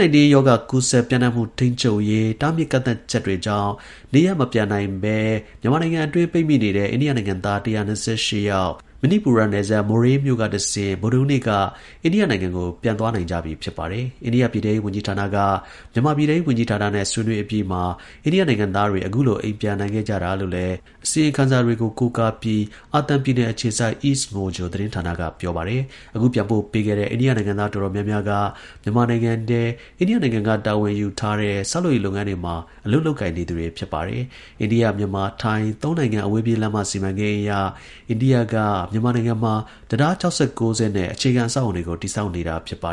-19 ရောဂါ ကူးစက် ပျံ့နှံ့မှု ထိန်းချုပ်ရေး တားမြစ်ကန့်သတ်ချက်တွေကြောင့် နေရပ် မပြန်နိုင်ဘဲ မြန်မာနိုင်ငံတွင်း ပိတ်မိ နေတဲ့ အိန္ဒိယနိုင်ငံသား ၁၂၈ ယောက် မဏိပူရ နယ်စပ် မိုရေးမြို့ ကတဆင့် ဗုဒ္ဓဟူးနေ့က အိန္ဒိယနိုင်ငံကို ပြန်သွားနိုင်ကြပြီ ဖြစ်ပါတယ်။ အိန္ဒိယ ပြည်ထဲရေး ဝန်ကြီးဌာနက မြန်မာပြည်ထဲရေး ဝန်ကြီးဌာနနဲ့ ဆွေးနွေးအပြီးမှာ အိန္ဒိယနိုင်ငံသားတွေ အခုလို အိမ် ပြန်နိုင်ခဲ့တာလို့လည်း အစီရင်ခံစာတွေကို ကိုးကားပြီး အာသံပြည်နယ်အခြေစိုက် EastMojo သတင်းဌာနက ပြောပါတယ်။ အခု ပြန်ပို့ပေးခဲ့တဲ့ အိန္ဒိယနိုင်ငံသား အတော်များများက မြန်မာနိုင်ငံထဲ အိန္ဒိယနိုင်ငံက တာဝန်ယူထားတဲ့ ဆောက်လုပ်ရေးလုပ်ငန်းတွေ မှာ အလုပ်လုပ်ကိုင်နေသူတွေ ဖြစ်ပါတယ်။ အိန္ဒိယ-မြန်မာ-ထိုင်း ၃ နိုင်ငံ အဝေးပြေးလမ်းမ စီမံကိန်းအရ အိန္ဒိယက မြန်မာနိုင်ငံမှာ တံတား ၆၉ စင်း နဲ့ အခြေခံအဆောက်အအုံတွေကို တည်ဆောက်နေတာပါ